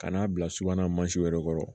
Ka n'a bila subana mansinw yɛrɛ kɔrɔ